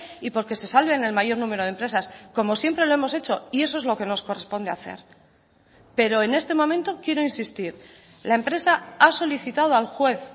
y porque se salven el mayor número de empresas como siempre lo hemos hecho y eso es lo que nos corresponde hacer pero en este momento quiero insistir la empresa ha solicitado al juez